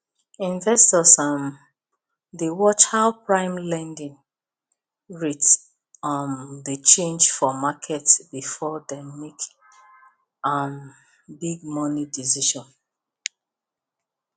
investors um dey watch how prime lending rate um dey change for market before dem make um big money decision